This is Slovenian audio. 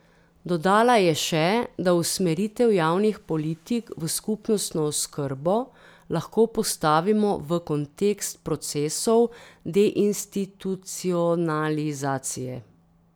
Dodala je še, da usmeritev javnih politik v skupnostno oskrbo lahko postavimo v kontekst procesov deinstitucionalizacije.